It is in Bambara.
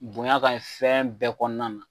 Bonya kaɲi fɛn bɛɛ kɔnɔna na.